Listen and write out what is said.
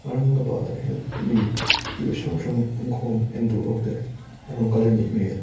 aurangabad a hian mi thil hrang hrang pum khawm entur ho te an lo kal a nih hmel--